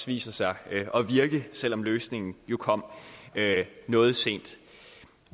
viser sig at virke selv om løsningen kom noget sent